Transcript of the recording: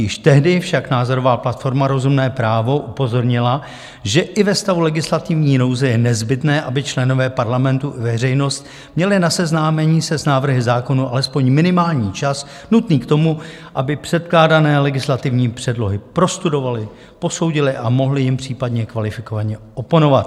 Již tehdy však názorová platforma Rozumné právo upozornila, že i ve stavu legislativní nouze je nezbytné, aby členové Parlamentu i veřejnost měli na seznámení se s návrhy zákonů alespoň minimální čas nutný k tomu, aby předkládané legislativní předlohy prostudovali, posoudili a mohli jim případně kvalifikovaně oponovat.